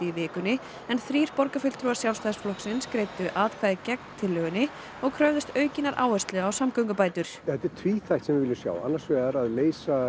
í vikunni en þrír borgarfulltrúar Sjálfstæðisflokksins greiddu atkvæði gegn tillögunni og kröfðust aukinnar áherslu á samgöngubætur þetta er tvíþætt sem við viljum sjá annars vega ráð leysa